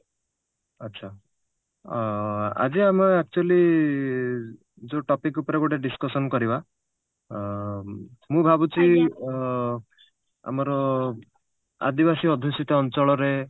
ଆଚ୍ଛା ଆ ଆଜି ଆମେ actually ଯଉ topic ଉପରେ ଗୋଟେ discussion କରିବା ଅ ମୁଁ ଭାବୁଛି ଅ ଆମର ଆଦିବାସୀ ଅଧିଶିତ ଅଞ୍ଚଳରେ